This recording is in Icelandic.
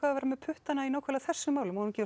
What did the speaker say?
að vera með puttana í nákvæmlega þessum málum má hún ekki